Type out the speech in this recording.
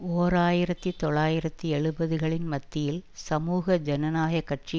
ஓர் ஆயிரத்தி தொள்ளாயிரத்தி எழுபதுகளின் மத்தியில் சமூக ஜனநாயக கட்சி